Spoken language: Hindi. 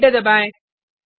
एंटर दबाएँ